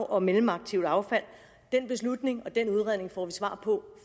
og mellemaktivt affald den beslutning og den udredning får vi svar på